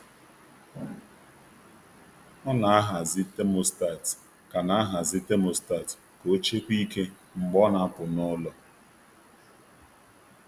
O na-ahazi thermostat ka na-ahazi thermostat ka o chekwaa ike mgbe ọ na-apụ n'ụlọ.